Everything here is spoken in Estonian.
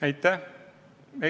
Aitäh!